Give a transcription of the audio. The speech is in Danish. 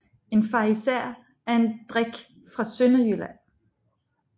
En farisæer er en drik fra Sønderjylland